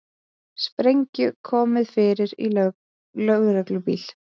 Sprengju komið fyrir í lögreglubíl